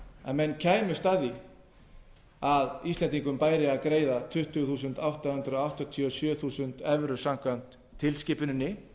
að menn kæmust að því að íslendingum bæri að greiða tuttugu þúsund átta hundruð áttatíu og sjö þúsund evrur samkvæmt tilskipuninni